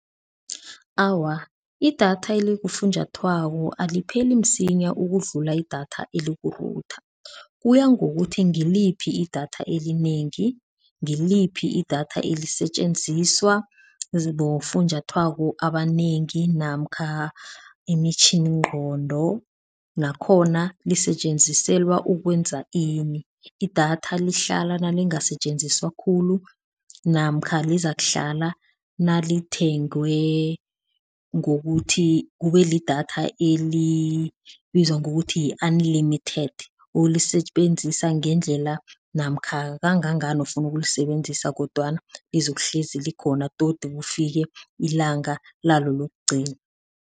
Awa, idatha elikufunjathwako alipheli msinya ukudlula idatha eliku-router, kuya ngokuthi ngiliphi idatha elinengi, ngiliphi idatha elisetjenziswa bofunjathwako abanengi namkha imitjhiningqondo nakhona lisetjenziselwa ukwenza ini, idatha lihlala nalingasetjenziswa khulu namkha lizakuhlala nalithengwe ngokuthi kube lidatha elibizwa ngokuthi yi-unlimited olisebenzisa ngendlela namkha kangangani ofuna ukulisebenzisa kodwana lizokuhlezi likhona todi kufike ilanga lalo lokugcina.